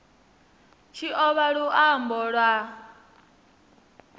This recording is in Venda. tshi o vha luambo lwa